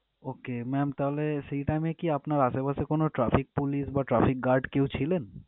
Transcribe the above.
ওকে ma'am তাহলে সেই time এ কি আপনার আশেপাশে কোনো traffic police বা traffic guard কেউ ছিলেন?